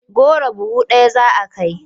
Goro buhu ɗaya za a kai.